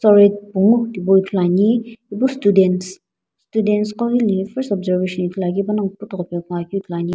pungu tipau ithuluani ipu students students qo ghi hile first observation ithuluakeu panongu puthugho pe ngoakeu ithuluani.